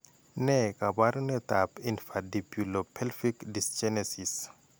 Ne kaabarunetap Infundibulopelvic dysgenesis?